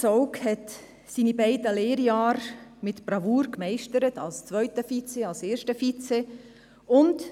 Zaugg meisterte seine beiden Lehrjahre mit Bravour, als zweiter Vizepräsident, als erster Vizepräsident.